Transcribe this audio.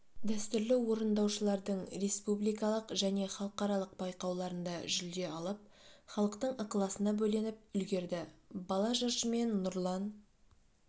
дәстүрлі орындаушылардың республикалық және халықаралық байқауларында жүлде алып халықтың ықыласына бөленіп үлгерді бала жыршымен нұрлан